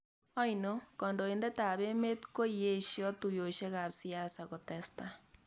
oino, kandoindetab emet koieshoo tuiyeshekab siasa kotesetai